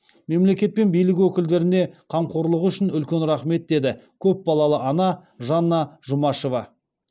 мемлекет пен билік өкілдеріне қамқорлығы үшін үлкен рахмет деді көпбалалы ана жанна жұмашева